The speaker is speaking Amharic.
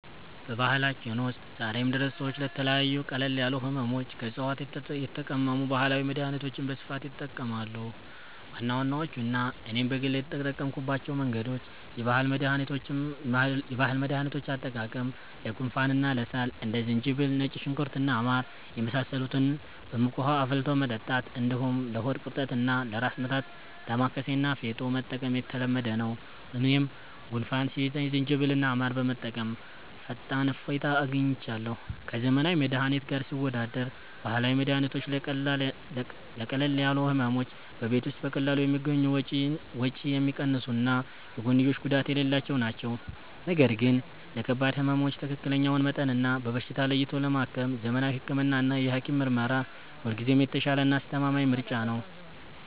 በባህላችን ውስጥ ዛሬም ድረስ ሰዎች ለተለያዩ ቀለል ያሉ ሕመሞች ከዕፅዋት የተቀመሙ ባህላዊ መድኃኒቶችን በስፋት ይጠቀማሉ። ዋና ዋናዎቹና እኔም በግል የተጠቀምኩባቸው መንገዶች፦ የባህል መድኃኒቶች አጠቃቀም፦ ለጉንፋንና ለሳል እንደ ዝንጅብል፣ ነጭ ሽንኩርት እና ማር የመሳሰሉትን በሙቅ ውኃ አፍልቶ መጠጣት፣ እንዲሁም ለሆድ ቁርጠትና ለራስ ምታት «ዳማከሴ» እና «ፌጦ» መጠቀም የተለመደ ነው። እኔም ጉንፋን ሲይዘኝ ዝንጅብልና ማር በመጠቀም ፈጣን እፎይታ አግኝቻለሁ። ከዘመናዊ መድኃኒት ጋር ሲወዳደር፦ ባህላዊ መድኃኒቶች ለቀለል ያሉ ሕመሞች በቤት ውስጥ በቀላሉ የሚገኙ፣ ወጪ የሚቀንሱና የጎንዮሽ ጉዳት የሌላቸው ናቸው። ነገር ግን ለከባድ ሕመሞች ትክክለኛውን መጠንና በሽታ ለይቶ ለማከም ዘመናዊ ሕክምናና የሐኪም ምርመራ ሁልጊዜም የተሻለና አስተማማኝ ምርጫ ነው።